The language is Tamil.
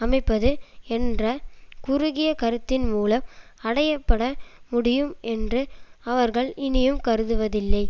அமைப்பது என்ற குறுகிய கருத்தின்மூலம் அடைய பட முடியும் என்று அவர்கள் இனியும் கருதுவதில்லை